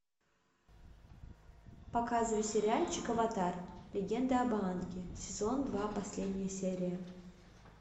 показывай сериальчик аватар легенда об аанге сезон два последняя серия